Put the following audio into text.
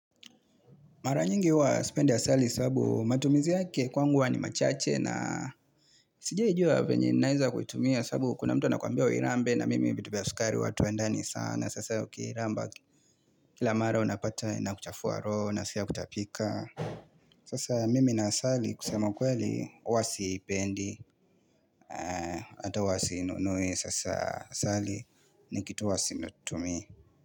Mara nyingi huwa sipendi asali sababu matumizi yake kwangu huwa ni machache. Sijawahi juwa venye naeza kuitumia sababu kuna mtu anakwambia uirambe na mimi vitu vya sukari huwa atuendani sana sasa ukiramba kila mara unapata inakuchafua roho naskia kutapika. Sasa mimi na asali kusema kweli huwa sipendi ata wasinunue sasa asali ni kitu huwa situmii.